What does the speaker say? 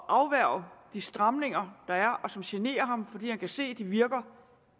afværge de stramninger der er og som generer ham fordi han kan se at de virker